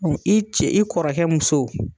i ce i kɔrɔkɛ muso.